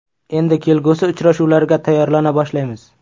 Endi kelgusi uchrashuvlarga tayyorlana boshlaymiz.